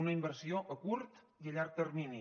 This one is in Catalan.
una inversió a curt i a llarg termini